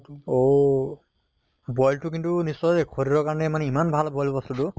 অহ boil টো কিন্তু নিশ্চয় শৰীৰৰ কাৰণে ইমান ভাল boil বস্তু টো